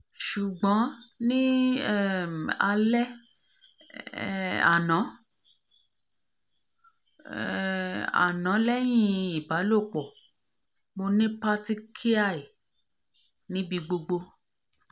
sugbon ni um ale um ano um ano lehin ibalopo mo ni patechiae ni bi gbogbo